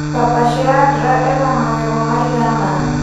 papa Shirandula ena mangengo maigana